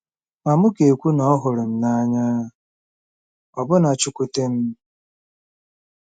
Ma, m ga-ekwu na ọ hụrụ m n’anya, ọbụna chụkwute m.